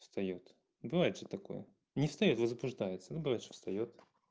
встаёт ну бывает же такое не встаёт а возбуждается но бывает что встаёт